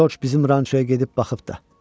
Corc bizim rançoya gedib baxıb da.